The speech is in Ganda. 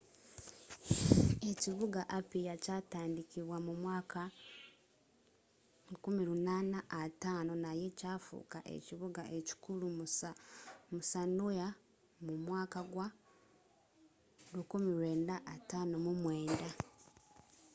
ekibuga apia kyatandikibwa mu mwaka 1850 naye kyafuka ekibuga ekikulu mu sanoa mu mwaka gwa 1959